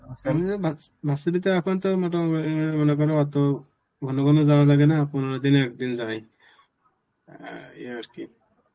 versity তে এখন তো মোটামুটি অ্যাঁ মনে কর অত ঘন ঘন যাওয়া লাগে না পনেরো দিনে একদিন যাই. অ্যাঁ এই আর কি.